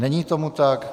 Není tomu tak.